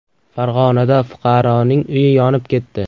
Farg‘onada fuqaroning uyi yonib ketdi.